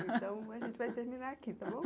Então, a gente vai terminar aqui, tá bom?